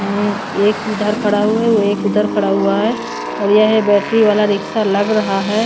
एक इधर खड़ा हुआ है और एक उधर खड़ा हुआ है और यह बैटरी वाला रिक्शा लग रहा है ।